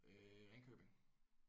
Øh Ringkøbing